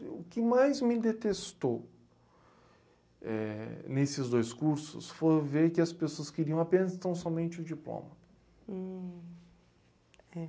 O que mais me detestou nesses dois cursos foi ver que as pessoas queriam apenas e tão somente o diploma.